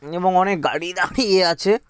এবং অনেক গাড়ি দাঁড়িয়ে আছে --